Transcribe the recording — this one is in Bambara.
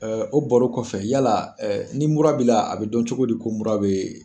O baro kɔfɛ yala ni mura bi dɔn cogo di ko mura be